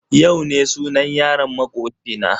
Yau ne sunan yaron makoci na.